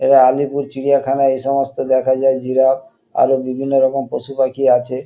এরা আলিপুর চিড়িয়াখানা এসমস্ত দেখা যায় জিরাফ আরো বিভিন্ন রকম পশুপাখি আছে।